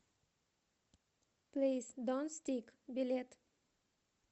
плиз донт стик билет